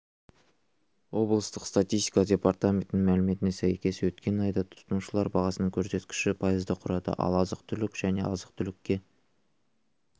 облыстық статистика департаментінің мәліметіне сәйкес өткен айда тұтынушылар бағасының көрсеткіші пайызды құрады ал азық-түлік және азық-түлікке